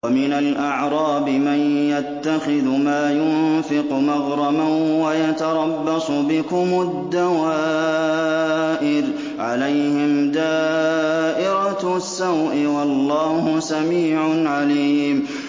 وَمِنَ الْأَعْرَابِ مَن يَتَّخِذُ مَا يُنفِقُ مَغْرَمًا وَيَتَرَبَّصُ بِكُمُ الدَّوَائِرَ ۚ عَلَيْهِمْ دَائِرَةُ السَّوْءِ ۗ وَاللَّهُ سَمِيعٌ عَلِيمٌ